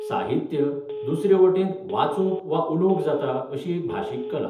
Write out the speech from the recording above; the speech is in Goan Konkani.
साहित्य, दुसरे वटेन, वाचूंक वा उलोवंक जाता अशी एक भाशीक कला.